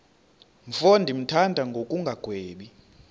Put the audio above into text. mfo ndimthanda ngokungagwebi